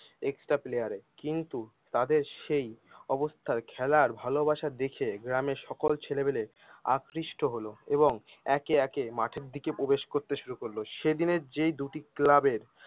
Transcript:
extra player এ কিন্ত তাদের সেই অবস্থার খেলার ভালোবাসা দেখে গ্রামের সকল ছেলে পেলে আকৃষ্ট হলো এবং একে একে মাঠের দিকে প্রবেশ করতে শুরু করলো সেদিনের যে দুটি ক্লাবের